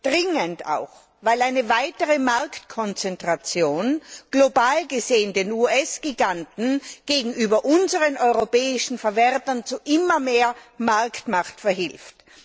Dringend auch, weil eine weitere Marktkonzentration global gesehen den US Giganten gegenüber unseren europäischen Verwertern zu immer mehr Marktmacht verhilft.